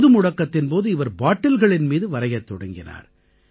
பொதுமுடக்கத்தின் போது இவர் பாட்டில்களின் மீது வரையத் தொடங்கினார்